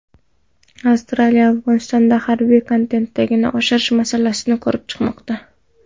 Avstraliya Afg‘onistonda harbiy kontingentni oshirish masalasini ko‘rib chiqmoqda.